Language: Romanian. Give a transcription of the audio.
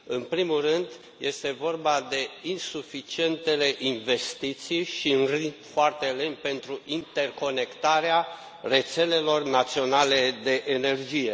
În primul rând, este vorba de insuficientele investiții și un ritm foarte lent pentru interconectarea rețelelor naționale de energie.